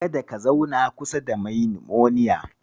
Kada ka zauna kusa da mai nimoniya.